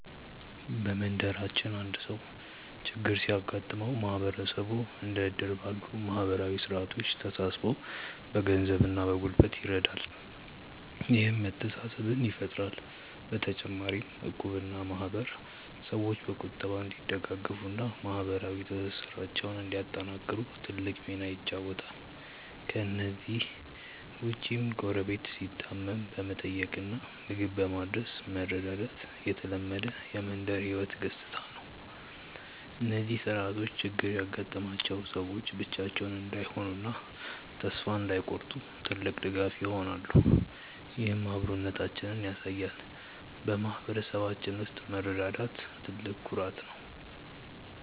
በመንደራችን አንድ ሰው ችግር ሲገጥመው ማህበረሰቡ እንደ እድር ባሉ ማህበራዊ ስርዓቶች ተሰባስቦ በገንዘብና በጉልበት ይረዳል፤ ይህም መተሳሰብን ይፈጥራል። በተጨማሪም እቁብና ማህበር ሰዎች በቁጠባ እንዲደጋገፉና ማህበራዊ ትስስራቸውን እንዲያጠናክሩ ትልቅ ሚና ይጫወታሉ። ከእነዚህ ውጭም ጎረቤት ሲታመም በመጠየቅና ምግብ በማድረስ መረዳዳት የተለመደ የመንደር ህይወት ገጽታ ነው። እነዚህ ስርዓቶች ችግር ያጋጠማቸው ሰዎች ብቻቸውን እንዳይሆኑና ተስፋ እንዳይቆርጡ ትልቅ ድጋፍ ይሆናሉ፤ ይህም አብሮነታችንን ያሳያል። በማህበረሰባችን ውስጥ መረዳዳት ትልቅ ኩራት ነው።